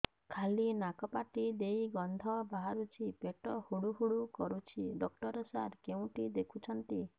ଖାଲି ନାକ ପାଟି ଦେଇ ଗଂଧ ବାହାରୁଛି ପେଟ ହୁଡ଼ୁ ହୁଡ଼ୁ କରୁଛି ଡକ୍ଟର ସାର କେଉଁଠି ଦେଖୁଛନ୍ତ